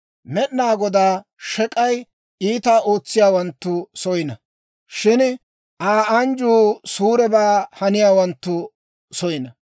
Med'inaa Godaa shek'ay iitaa ootsiyaawanttu soyina; shin Aa anjjuu suurebaa haniyaawanttu soyina.